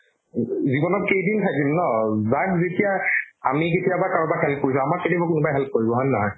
উম, জীৱনত কেইদিন থাকিম ন যাক যেতিয়া আমি কেতিয়াবা কাৰোবাক tarif কৰিছো আমাক কেতিয়াবা কোনোবাই help কৰিব হয়নে নহয় ?